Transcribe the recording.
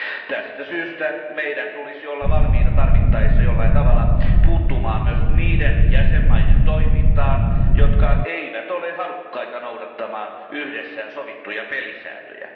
Tästä syystä meidän tulisi olla valmiita tarvittaessa jollain tavalla puuttumaan myös niiden jäsenvaltioiden toimintaan, jotka eivät ole halukkaita noudattamaan yhdessä sovittuja pelisääntöjä.